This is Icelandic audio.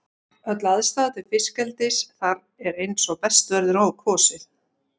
Öll aðstaða til fiskeldis þar er eins og best verður á kosið.